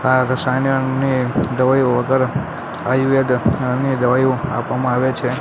આ રસાયણની દવાઇઓ વગર આયુવેદ ની દવાઇઓ આપવામાં આવે છે.